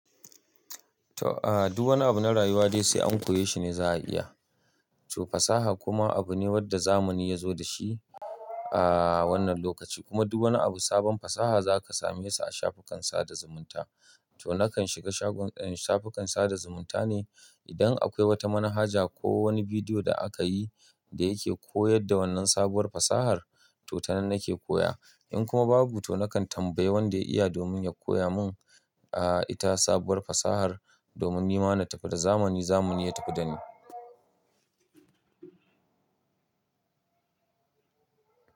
To, a duwanna abu na rayuwa dai sai an koya shi ne za a iya. To fasaha kuma abu ne wanda zamani ya zo da shi a wannan lokaci. Kuma duk wani abu sabon fasaha za ka same shi a shafukan sada zumunta. To nakan shiga shagon, shafukan sada zumunta ne idan akwai wata manhaja ko wani bidiyo da aka yi da yake koyar da wannan sabuwar fasahar to tanan nake koya. In kuma babu, to nakan tambayi wanda ya iya domin ya koya mun a ita sabuwar fasahar domin ni ma na tafi da zamani zamani ya tafi da ni.